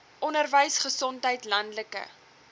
onderwys gesondheid landelike